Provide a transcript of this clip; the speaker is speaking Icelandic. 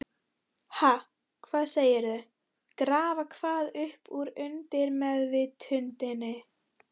Ha, hvað segirðu, grafa hvað upp úr undirmeðvitundinni?